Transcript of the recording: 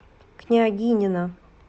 княгинино